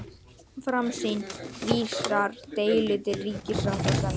Framsýn vísar deilu til ríkissáttasemjara